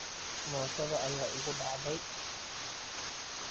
Mootada ayaa igu dhacday.